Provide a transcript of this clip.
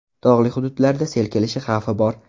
Tog‘li hududlarda sel kelishi xavfi bor.